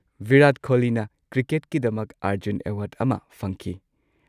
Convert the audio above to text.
ꯕꯤꯔꯥꯠ ꯀꯣꯍꯂꯤꯅ ꯀ꯭ꯔꯤꯀꯦꯠꯀꯤꯗꯃꯛ ꯑꯔꯖꯨꯟ ꯑꯦꯋꯥꯔꯗ ꯑꯃ ꯐꯪꯈꯤ꯫